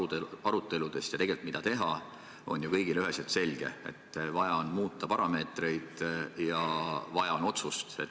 Tegelikult on see, mida teha, ju kõigile üheselt selge: vaja on muuta parameetreid ja vaja on otsust.